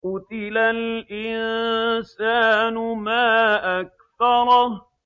قُتِلَ الْإِنسَانُ مَا أَكْفَرَهُ